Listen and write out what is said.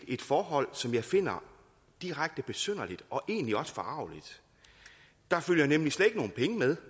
et forhold som jeg finder direkte besynderligt og egentlig også forargeligt der følger nemlig slet ikke nogen penge med